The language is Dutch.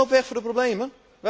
U loopt weg voor de problemen?